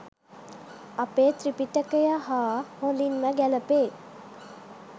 අපේ ත්‍රිපිටකය හා හොඳින්ම ගැලපේ